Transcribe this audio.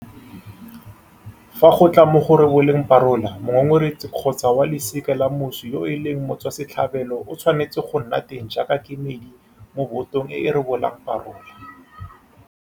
Fa go tla mo go reboleng parola, mongongoregi kgotsa wa losika la moswi yo e leng motswasetlhabelo o tshwanetse go nna teng jaaka kemedi mo botong e e rebolang parola.